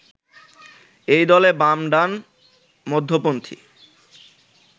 এই দলে বাম, ডান, মধ্যপন্থি